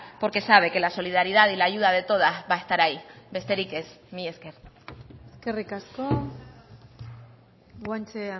porque sabe que la solidaridad y la ayuda de todas va a estar ahí besterik ez mila esker eskerrik asko guanche